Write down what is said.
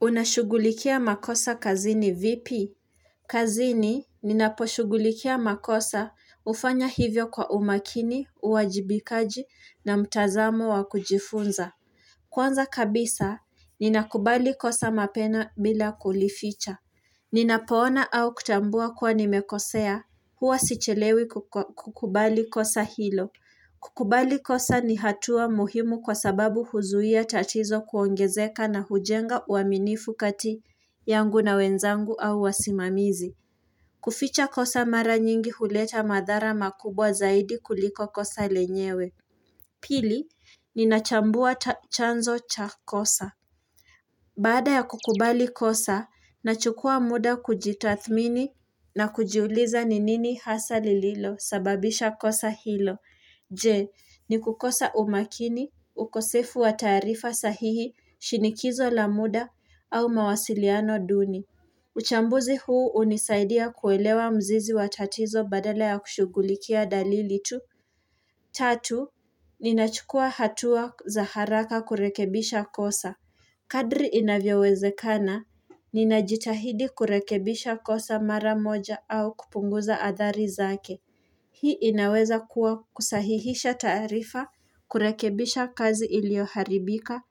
Unashugulikia makosa kazini vipi? Kazini ninaposhugulikia makosa ufanya hivyo kwa umakini, uwajibikaji na mtazamo wa kujifunza. Kwanza kabisa ninakubali kosa mapema bila kulificha. Ninapoona au kutambua kuwa nimekosea huwa sichelewi kukubali kosa hilo. Kukubali kosa ni hatua muhimu kwa sababu huzuia tatizo kuongezeka na hujenga uaminifukati yangu na wenzangu au wasimamizi. Kuficha kosa mara nyingi huleta madhara makubwa zaidi kuliko kosa lenyewe. Pili, ninachambua chanzo cha kosa. Baada ya kukubali kosa, nachukua muda kujitathimini na kujiuliza ni nini hasa lililo sababisha kosa hilo. Je, ni kukosa umakini, ukosefu wa taarifa sahihi, shinikizo la muda, au mawasiliano duni. Uchambuzi huu unisaidia kuelewa mzizi watatizo badala ya kushugulikia dalili tu. Tatu, ninachukua hatua za haraka kurekebisha kosa. Kadri inavyoweze kana, ninajitahidi kurekebisha kosa mara moja au kupunguza athari zake. Hii inaweza kuwa kusahihisha taarifa, kurekebisha kazi ilioharibika,